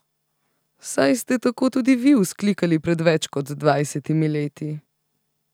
Saj ste tako tudi vi vzklikali pred več kot dvajsetimi leti?